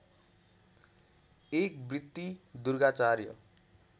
एक वृत्ति दुर्गाचार्य